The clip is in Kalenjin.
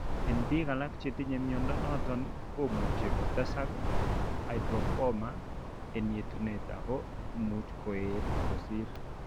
En biik alak chetinye mnyondo noton , komuche kotesak hygroma en yetunatet ako much koet kosir